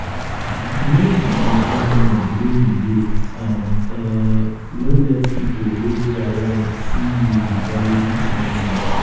know di environment wey you dey and um no let um pipo wey dey around see you with valuable something um